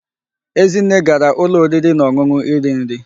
Ezinne gara ulo oriri na onunu iri nri